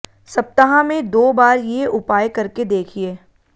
सप्ताह में दो बार ये उपाय करके देखिए